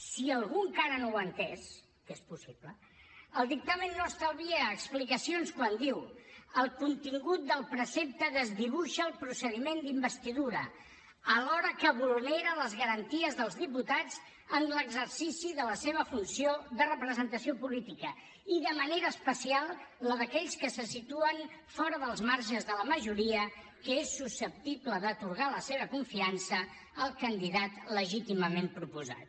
si algú encara no ho ha entès que és possible el dictamen no estalvia explicacions quan diu el contingut del precepte desdibuixa el procediment d’investidura alhora que vulnera les garanties dels diputats en l’exercici de la seva funció de representació política i de manera especial la d’aquells que se situen fora dels marges de la majoria que és susceptible d’atorgar la seva confiança al candidat legítimament proposat